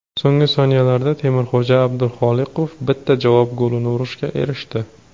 So‘nggi soniyalarda Temirxo‘ja Abduxoliqov bitta javob golini urishga erishdi.